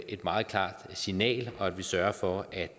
et meget klart signal og at vi sørger for at